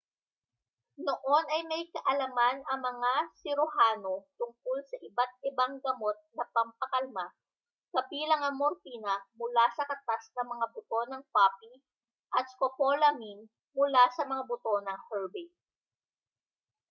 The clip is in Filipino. noon ay may kaalaman ang mga siruhano tungkol sa iba't ibang gamot na pampakalma kabilang ang morpina mula sa katas ng mga buto ng poppy at scopolamine mula sa mga buto ng herbane